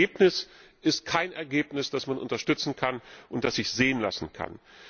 Aber das Ergebnis ist kein Ergebnis, das man unterstützen kann und das sich sehen lassen kann.